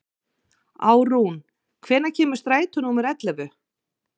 Árún, hvenær kemur strætó númer ellefu?